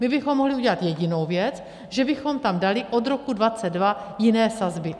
My bychom mohli udělat jedinou věc, že bychom tam dali od roku 2022 jiné sazby.